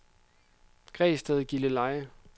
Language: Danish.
Græsted-Gilleleje